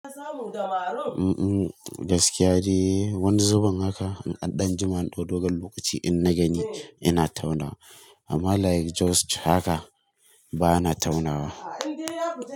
Umm, gaskiya dai wani zubin haka in an danjima, dodo gan lokaci in na gani yana taunawa. Amma like just haka bana taunawa.